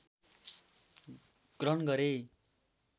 ग्रहण गरे